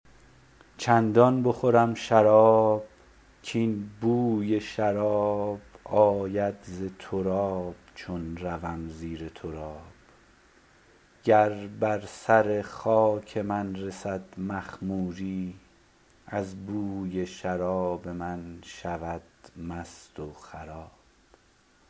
چندان بخورم شراب کاین بوی شراب آید ز تراب چون روم زیر تراب گر بر سر خاک من رسد مخموری از بوی شراب من شود مست و خراب